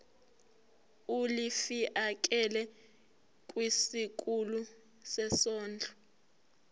ulifiakela kwisikulu sezondlo